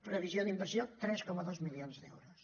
previsió d’inversió tres coma dos milions d’euros